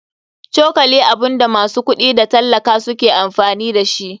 Cokali abunda masu kuɗi da tallaka suke amfani dashi.